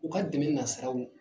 U ka dɛmɛ nasiraw